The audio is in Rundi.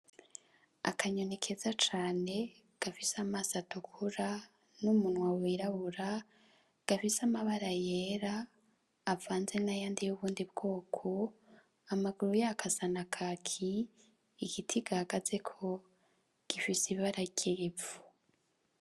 Akanyoni keza cane gafise amaso atukura n'umunwa wirabura gafise amabara yera avanze n'ayandi y'ubundi bwoko, amaguru yako asa na kaki igiti gahagazeko gifise ibara ry'ivu.